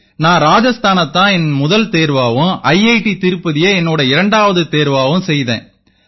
நான் ராஜஸ்தானைத் தான் என் முதல் தேர்வாவும் ஐஐடி திருப்பதியை என்னோட இரண்டாவது தேர்வாவும் செய்தேன்